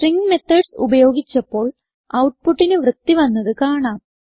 string methods ഉപയോഗിച്ചപ്പോൾ ഔട്ട്പുട്ടിന് വൃത്തി വന്നത് കാണാം